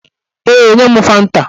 Ee, nye m fanta